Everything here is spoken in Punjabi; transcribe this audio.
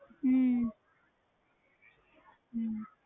ਹਮ ਹਮ